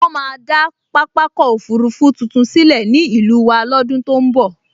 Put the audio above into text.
Wọ́n máa dá pápákọ̀ òfurufú tuntun sílẹ̀ ní ìlú wa lọ́dún tó n bọ̀